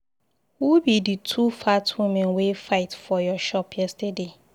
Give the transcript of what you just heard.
Who be the two fat women wey fight for your shop yesterday?